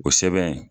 O sɛbɛn